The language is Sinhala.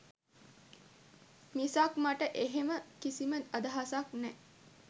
මිසක් මට එහෙම කිසිම අදහසක් නෑ.